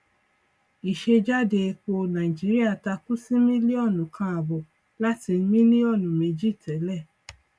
ìsejáde epo nàìjíríà takú sí mílíọnù kan àbọ láti mílíọnù méjì tẹlẹ